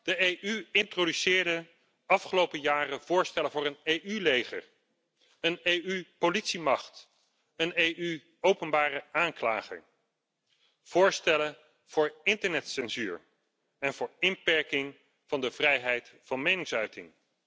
De EU introduceerde de afgelopen jaren voorstellen voor een EU leger, een EU politiemacht en een Europese openbare aanklager, naast voorstellen voor internetcensuur en voor inperking van de vrijheid van meningsuiting.